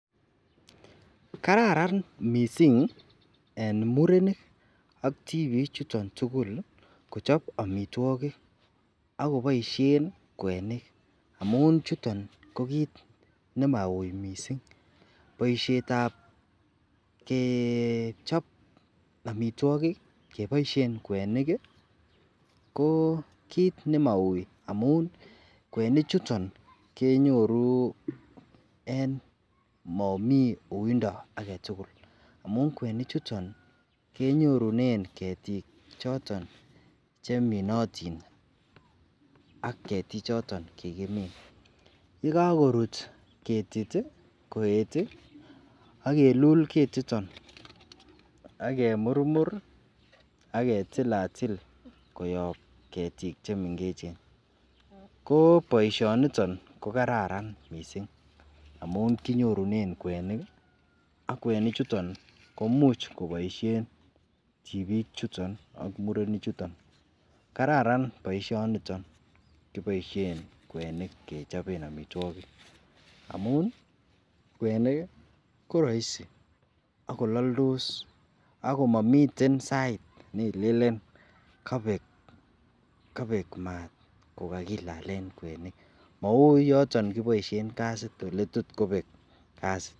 kararan mising en murenik ak tibiik chuton tugul kochob omitwogiik koboishen kweniik, amuun chuton ko kiit nemauu mising boisheet ab kechoob omitwogik keboishenkweniik iih ,ko kiit nemauu amuun kwenik chuton kenyoru en momii uindo agetugul, amuun kwenik chuton kenyorunen ketiik choton cheminotin ak ketiik choton kigimiin, yegagoruut ketiit koeet iih ak kiluul ketiton ak kemurmur ak ketilatil koyoob ketiik chemengechen, ko boishoniton kogararan mising amuun kinyorunen kweniik ak kweniik chuton komuuch koboishen tibiik chuton ak murenik chuton, kararan boishoniton kechobeen omitwogiik kechobeen kwenik amuun kwenik iih koroisi ak kolaldos agoor momiteen sait neilelen kobeek maat kogagilaleen kweniik, mouu yoton kiboishen kasiit eletotkobeek kasiit.